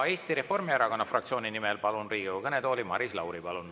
Eesti Reformierakonna fraktsiooni nimel kõnelema palun Riigikogu kõnetooli Maris Lauri.